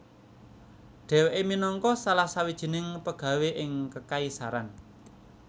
Dheweke minangka salah sawijining pegawé ing kekaisaran